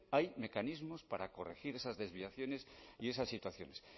hay mecanismos para corregir esas desviaciones y esas situaciones